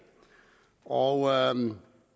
og